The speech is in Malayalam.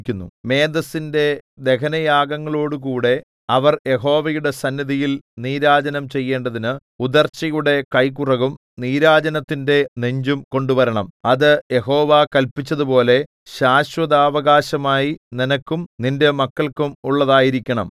മേദസ്സിന്റെ ദഹനയാഗങ്ങളോടുകൂടെ അവർ യഹോവയുടെ സന്നിധിയിൽ നീരാജനം ചെയ്യേണ്ടതിന് ഉദർച്ചയുടെ കൈക്കുറകും നീരാജനത്തിന്റെ നെഞ്ചും കൊണ്ടുവരണം അത് യഹോവ കല്പിച്ചതുപോലെ ശാശ്വതാവകാശമായി നിനക്കും നിന്റെ മക്കൾക്കും ഉള്ളതായിരിക്കണം